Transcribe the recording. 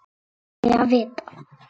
Þó aldrei að vita.